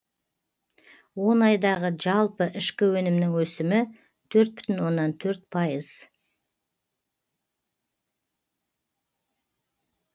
он айдағы жалпы ішкі өнімнің өсімі төрт бүтін оннан төрт пайыз